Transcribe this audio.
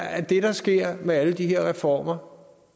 at det der sker med alle de her reformer